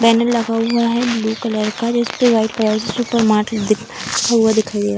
Banner लगा हुआ है ब्लू कलर का जिसमे व्हाइट कलर में सुपर मार्ट लिखा हुआ दिखाई दे रहा है।